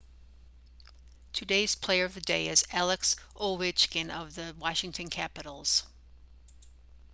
today's player of the day is alex ovechkin of the washington capitals